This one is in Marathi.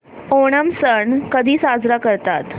ओणम सण कधी साजरा करतात